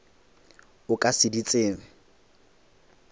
o ka se di tsebe